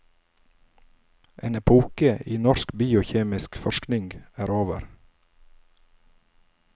En epoke i norsk biokjemisk forskning er over.